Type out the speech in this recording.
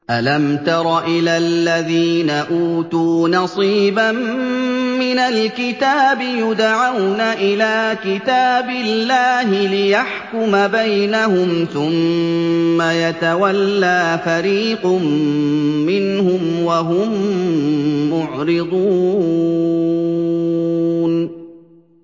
أَلَمْ تَرَ إِلَى الَّذِينَ أُوتُوا نَصِيبًا مِّنَ الْكِتَابِ يُدْعَوْنَ إِلَىٰ كِتَابِ اللَّهِ لِيَحْكُمَ بَيْنَهُمْ ثُمَّ يَتَوَلَّىٰ فَرِيقٌ مِّنْهُمْ وَهُم مُّعْرِضُونَ